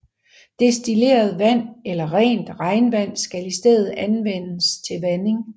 Destilleret vand eller rent regnvand skal i stedet anvendes til vanding